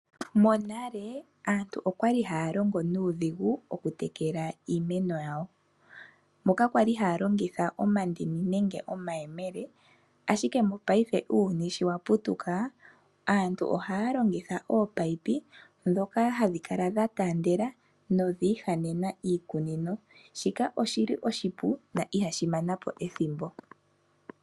Monale aantu oyali haya longo nuudhigu okutekela iimeno yawo, oyali haya longitha omandini nenge omayemele. Monena uuyuni sho wa putuka aantu ohaya longitha ominino ndhoka hadhi kala dhataandela dhiihanena iikunino, shika oshipu na ihashi mana po ethimbo.